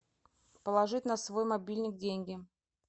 положить на свой мобильник деньги